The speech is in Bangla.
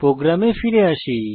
প্রোগ্রামে ফিরে আসি